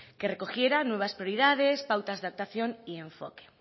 que recogiera nuevas prioridades pautas de actuación y enfoque